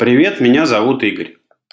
привет меня зовут игорь